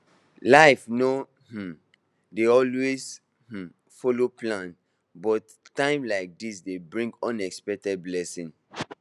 life no um dey always um follow plans but times like this dey bring unexpected blessings